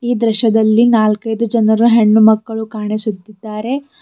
ಈ ದೃಶ್ಯದಲ್ಲಿ ನಾಲ್ಕೈದು ಜನರು ಹೆಣ್ಣುಮಕ್ಕಳು ಕಾಣಿಸುತ್ತಿದ್ದಾರೆ.